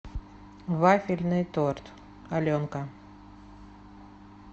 вафельный торт аленка